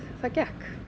það gekk